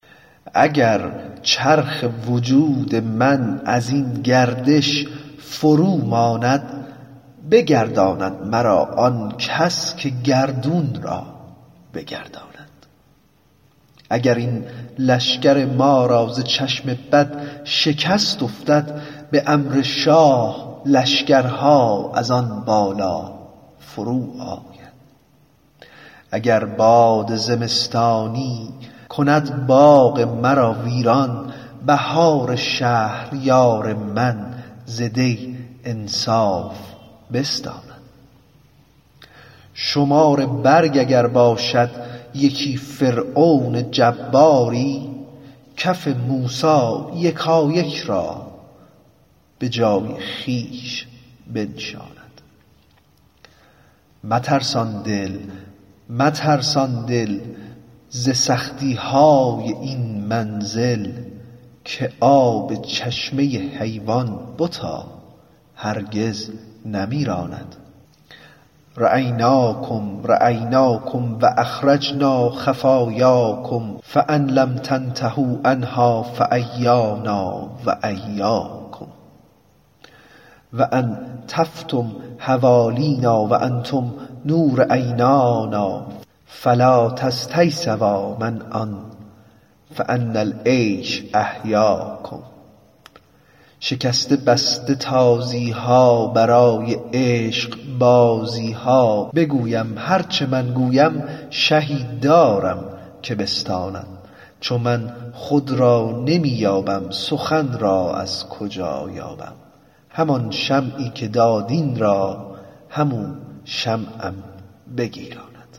اگر چرخ وجود من از این گردش فروماند بگرداند مرا آن کس که گردون را بگرداند اگر این لشکر ما را ز چشم بد شکست افتد به امر شاه لشکرها از آن بالا فروآید اگر باد زمستانی کند باغ مرا ویران بهار شهریار من ز دی انصاف بستاند شمار برگ اگر باشد یکی فرعون جباری کف موسی یکایک را به جای خویش بنشاند مترسان دل مترسان دل ز سختی های این منزل که آب چشمه حیوان بتا هرگز نمیراند رأیناکم رأیناکم و اخرجنا خفایاکم فإن لم تنتهوا عنها فإیانا و إیاکم و ان طفتم حوالینا و انتم نور عینانا فلا تستییسوا منا فإن العیش احیاکم شکسته بسته تازی ها برای عشقبازی ها بگویم هر چه من گویم شهی دارم که بستاند چو من خود را نمی یابم سخن را از کجا یابم همان شمعی که داد این را همو شمعم بگیراند